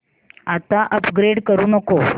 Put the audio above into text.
आता अपग्रेड करू नको